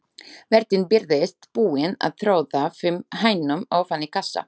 Vertinn birtist, búinn að troða fimm hænum ofan í kassa.